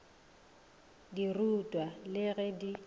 di rutwa le ge di